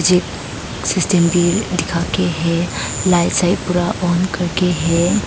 system भी दिखा के है लाइट साइट पूरा ऑन करके--